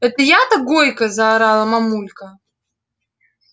это я-то гойка заорала мамулька